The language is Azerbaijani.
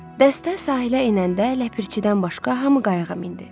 Dəstə sahilə enəndə ləpirçidən başqa hamı qayıqa mindi.